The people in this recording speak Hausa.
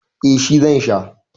eh shi zan Sha